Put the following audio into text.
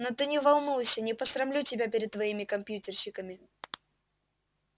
но ты не волнуйся не посрамлю тебя перед твоими компьютерщиками